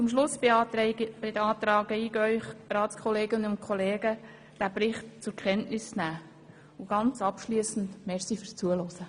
Zum Schluss beantrage ich Ihnen, liebe Ratskolleginnen und kollegen, den Bericht zur Kenntnis zu nehmen und danke Ihnen abschliessend fürs Zuhören.